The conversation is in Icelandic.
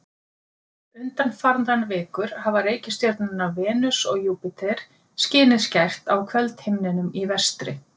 Undanfarnar vikur hafa reikistjörnurnar Venus og Júpíter skinið skært á kvöldhimninum í vestri.